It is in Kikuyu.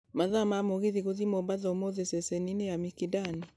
mathaa ma mũgithi gũthiĩ mombatha ũmũthĩ ceceni -inĩ ya mikindani